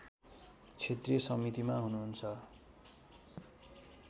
क्षेत्रीय समितिमा हुनुहुन्छ